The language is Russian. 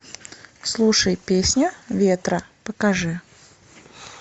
слушай песню ветра покажи